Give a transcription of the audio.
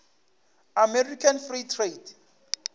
american free trade